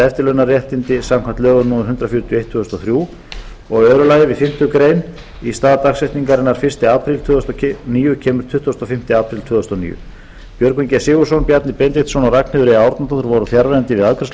eftirlaunaréttindi samkvæmt lögum númer hundrað fjörutíu og eitt tvö þúsund og þrjú önnur við fimmtu grein í stað dagsetningarinnar fyrsta apríl tvö þúsund og níu kemur tuttugasta og fimmta apríl tvö þúsund og níu björgvin g sigurðsson bjarni benediktsson og ragnheiður e árnadóttir voru fjarverandi við afgreiðslu